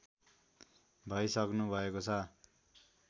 भइसक्नुभएको छ